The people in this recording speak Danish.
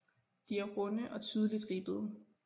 De er runde og tydeligt ribbede